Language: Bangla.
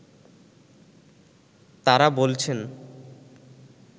তারা বলছেন